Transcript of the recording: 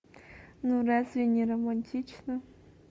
ну разве не романтично